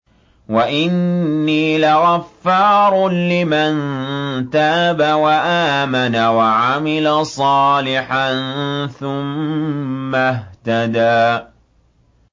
وَإِنِّي لَغَفَّارٌ لِّمَن تَابَ وَآمَنَ وَعَمِلَ صَالِحًا ثُمَّ اهْتَدَىٰ